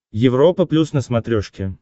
европа плюс на смотрешке